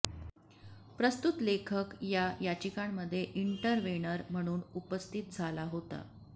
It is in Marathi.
प्रस्तुत लेखक या याचिकांमध्ये इंटरव्हेनर म्हणून उपस्थित झाला होता